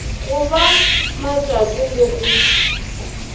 go ba matšato le go